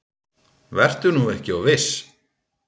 Vertu nú ekki of viss.